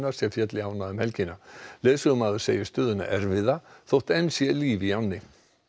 sem féll í ána um helgina leiðsögumaður segir stöðuna erfiða þótt enn sé líf í ánni